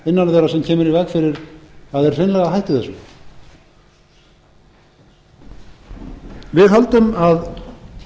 innan þeirra sem kemur í veg fyrir að þeir hreinlega hætti þessu við höldum að